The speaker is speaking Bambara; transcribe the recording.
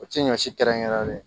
O tɛ ɲɔ si kɛrɛnkɛrɛnlen